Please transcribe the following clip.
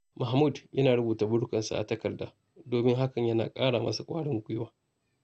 Mahmud yana rubuta burikansa a takarda domin hakan yana ƙara masa ƙwarin gwiwa.